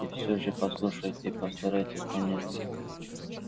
и всё же послушайте и постарайтесь понять